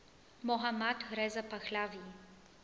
mohammad reza pahlavi